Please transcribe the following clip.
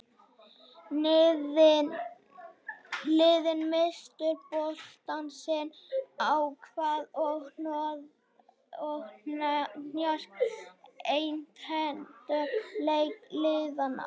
Liðin misstu boltann sitt á hvað og hnoð og hnjask einkenndu leik liðanna.